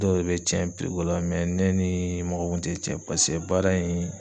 Dɔw de bɛ cɛn ko la ne nii mɔgɔ kun te cɛn pase baara in